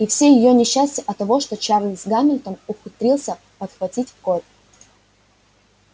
и все её несчастья оттого что чарлз гамильтон ухитрился подхватить корь